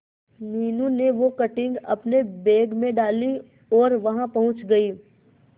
मीनू ने वो कटिंग अपने बैग में डाली और वहां पहुंच गए